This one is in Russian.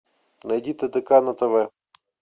найди тдк на тв